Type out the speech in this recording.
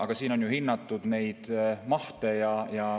Aga siin on ju hinnatud neid mahte.